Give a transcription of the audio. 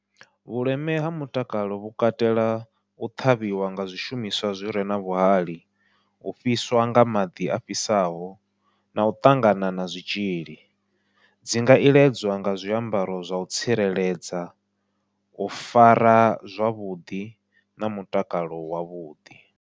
Vhuleme ha mutakalo vhu katela u ṱhavhiwa nga zwishumiswa zwire na vhuhali, u fhiswa nga maḓi a fhisaho nau ṱangana na zwitzhili dzi nga iledzwa nga zwiambaro zwau tsireledza u fara zwavhuḓi na mutakalo wavhuḓi.